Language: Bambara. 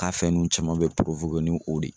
K'a fɛn nunnu caman bɛ ni o de